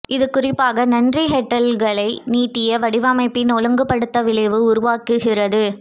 இது குறிப்பாக நன்றி ஹெட்லைட்டுகளை நீட்டிய வடிவமைப்பின் ஒழுங்குபடுத்த விளைவு உருவாக்குகிறது